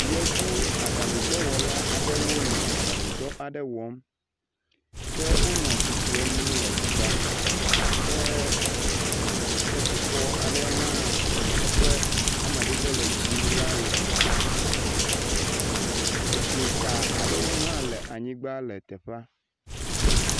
Yevu aɖaŋudɔwɔ aɖewo nɔ aɖaŋu dɔ aɖe wɔm. Ke wonɔ atsitrenu le teƒea. Ke ketrifɔ aɖe hã si eƒe amadede le dzie le tsitre. Edzoka aɖe hã le anyigba le teƒea.